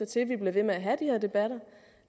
til at vi bliver ved med at have de her debatter